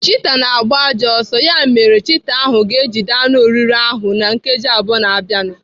Chita na-agba ajọ ọsọ. Ya mere chita ahụ ga-ejide anụ oriri ahụ na nkeji abụọ na-abịanụ.